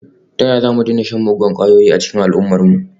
Ta yaya za mu daina shan muggan kwayoyi a cikin al’ummarmu?